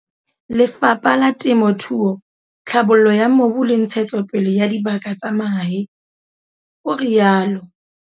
"Le fapha la Temothuo, Tlhabollo ya Mobu le Ntshetsopele ya Dibaka tsa Mahae," o rialo.